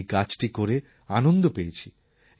আমি এই কাজটি করে আনন্দ পেয়েছি